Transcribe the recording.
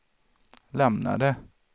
lämnade